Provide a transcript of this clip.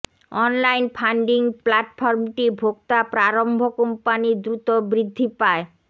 online funding প্ল্যাটফর্মটি ভোক্তা প্রারম্ভ কোম্পানীর দ্রুত বৃদ্ধি পায়